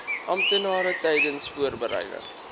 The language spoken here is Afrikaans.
amptenare tydens voorbereiding